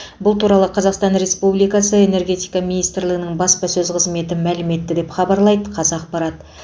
бұл туралы қазақстан республикасы энергетика министрлігінің баспасөз қызметі мәлім етті деп хабарлайды қазақпарат